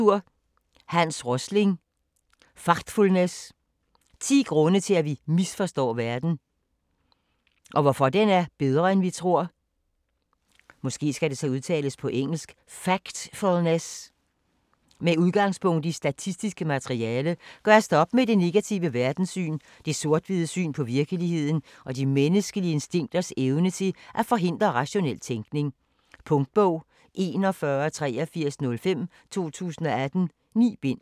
Rosling, Hans: Factfulness: 10 grunde til at vi misforstår verden - og hvorfor den er bedre end vi tror Med udgangspunkt i statistisk materiale gøres der op med det negative verdenssyn, det sort/hvide syn på virkeligheden og de menneskelige instinkters evne til at forhindre rationel tænkning. Punktbog 418305 2018. 9 bind.